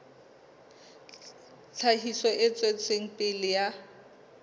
tlhahiso e tswetseng pele ya